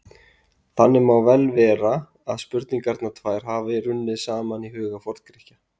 þannig má vel vera að spurningarnar tvær hafi runnið saman í huga forngrikkja